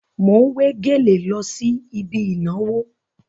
Mò ń wé gèlè lọ sí ibi ìnàwó.